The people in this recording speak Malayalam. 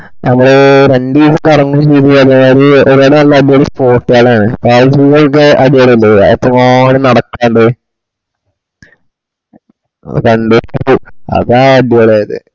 നമ്മള് രണ്ടൂസം കറങ്ങുചെയ്‌തു പറഞ്ഞമാരി അത്പോല അടിപൊളി spot കൾ ആണ് അത് നിങ്ങളുടെ അതുപോലല്ലാ എത്രമാനം നടക്കാൻ ഇണ്ട് രണ്ടൂസാ trip അതാ അടിപൊളിയായത്